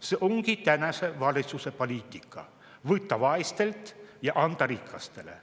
See ongi tänase valitsuse poliitika: võtta vaestelt ja anda rikastele.